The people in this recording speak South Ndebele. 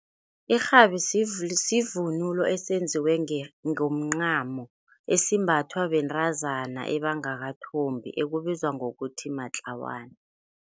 Irhabi sivunulo esenziwe ngomncamo esimbathwa bentazana ebangakathobi ekubizwa ngokuthi matlawana.